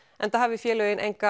enda hafi félögin enga